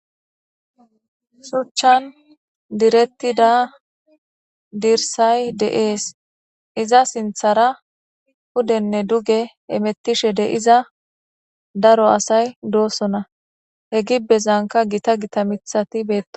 shuchchan direttida dirsay de7ees iza sinthara pudenne duge emettishe de iza daro asay doosona he gi bezanka gita gita mithati beeto